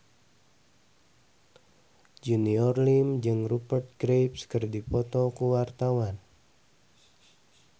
Junior Liem jeung Rupert Graves keur dipoto ku wartawan